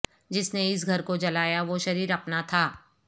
جس نے اس گھر کو جلایا وہ شرر اپنا تھا